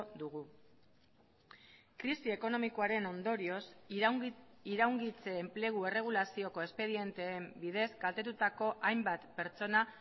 dugu krisi ekonomikoaren ondorioz iraungitze enplegu erregulazioko espedienteen bidez kaltetutako hainbat pertsona